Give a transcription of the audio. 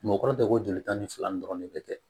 Mɔgɔkɔrɔba ko jolita ni fila ni dɔrɔn de bɛ kɛ